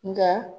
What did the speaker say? Nka